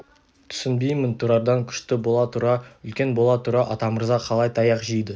түсінбеймін тұрардан күшті бола тұра үлкен бола тұра атамырза қалай таяқ жейді